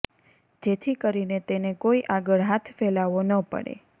જેથી કરીને તેને કોઈ આગળ હાથ ફેલાવો ન પડે